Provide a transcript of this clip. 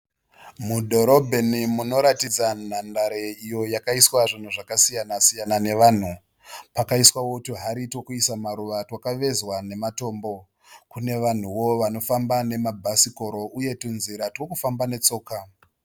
Mudhorobheni munoratidza nhandare iyo yakaiswa zvinhu zvakasiyana siyana nevanhu. Pakaiswawo tuhari tokuisa maruva twakavezwa nematombo. Kune vanhuwo vanofamba nema bhasikiro uye tunzira twokufamba netsoka.